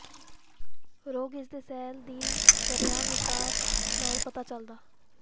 ਰੋਗ ਇਸ ਦੇ ਸੈੱਲ ਦੀ ਸ਼ਰੇਆਮ ਿਵਕਾਰ ਨਾਲ ਪਤਾ ਚੱਲਦਾ